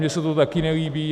Mně se to taky nelíbí.